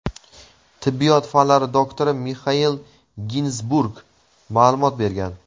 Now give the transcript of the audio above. tibbiyot fanlari doktori Mixail Ginzburg ma’lumot bergan.